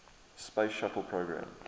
space shuttle program